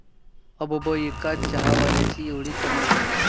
अबब, एका चहावाल्याची 'एवढी' कमाई?